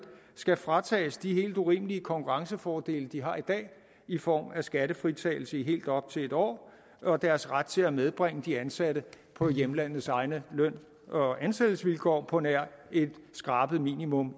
skal fratages de helt urimelige konkurrencefordele de har i dag i form af skattefritagelse i helt op til en år og deres ret til at medbringe de ansatte på hjemlandets egne løn og ansættelsesvilkår på nær et skrabet minimum